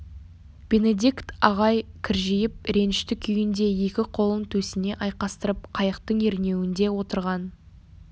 бенедикт ағай кіржиіп ренішті күйінде екі қолын төсіне айқастырып қайықтың ернеуінде отырған